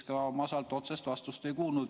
Ma ka sellele otsest vastust ei kuulnud.